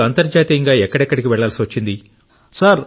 మీరు అంతర్జాతీయంగా ఎక్కడెక్కడికి వెళ్లాల్సి వచ్చింది